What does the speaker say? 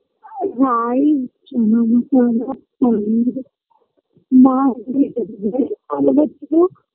হ্যাঁ এই মা শুধু